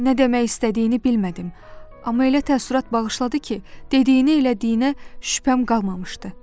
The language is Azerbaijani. Nə demək istədiyini bilmədim, amma elə təəssürat bağışladı ki, dediyinə elədiyinə şübhəm qalmamışdı.